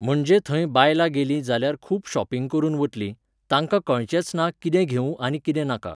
म्हणजे थंय बायलां गेलीं जाल्यार खूब शॉपिंग करून वतलीं, तांकां कळचेंच ना कितें घेवूं आनी कितें नाका.